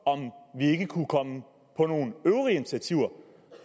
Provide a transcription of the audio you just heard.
vi ikke kunne komme på nogle øvrige initiativer